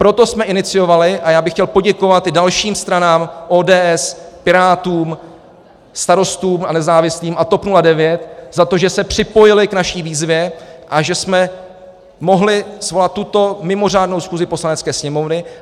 Proto jsme iniciovali - a já bych chtěl poděkovat i dalším stranám, ODS, Pirátům, Starostům a nezávislým a TOP 09 za to, že se připojili k naší výzvě a že jsme mohli svolat tuto mimořádnou schůzi Poslanecké sněmovny.